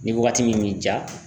Ni waagati min b'i ja